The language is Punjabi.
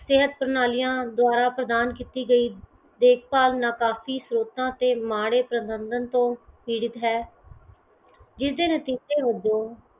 ਸਿਹਤ ਪ੍ਰਣਾਲੀਆਂ ਦੁਆਰਾ ਪ੍ਰਦਾਨ ਕੀਤੀ ਗਈ ਦੇਖ ਭਾਲ਼ ਕਾਫੀ ਤੇ ਮਾੜੇ ਪਰਬੰਧਨ ਤੋਂ ਪੀੜਤ ਹੈ ਜਿਸਦੇ ਨਤੀਜੇ ਵਜੋਂ